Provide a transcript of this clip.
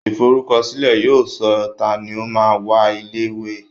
Ìforúkọsílẹ̀ yóò sọ tani o máa ń wá ilé ìwé